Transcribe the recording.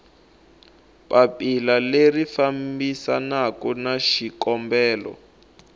papila leri fambisanaku na xikombelo